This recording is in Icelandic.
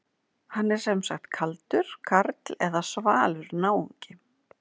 Hann er sem sagt kaldur karl eða svalur náungi.